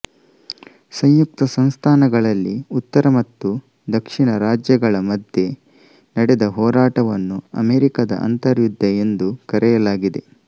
ಸಂಯುಕ್ತಸಂಸ್ಥಾನಗಳಲ್ಲಿ ಉತ್ತರ ಮತ್ತು ದಕ್ಷಿಣ ರಾಜ್ಯಗಳ ಮಧ್ಯೆ ನಡೆದ ಹೋರಾಟವನ್ನು ಅಮೆರಿಕದ ಅಂತರ್ಯುದ್ಧ ಎಂದು ಕರೆಯಲಾಗಿದೆ